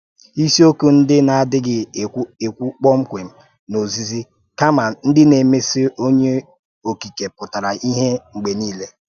Ìsìokwù ndị na-adịghị ékwú kpọmkwem n’ózìzi, kama ndị na-emèsì Ọ́nyé Okìké pútà ìhè mgbe niile.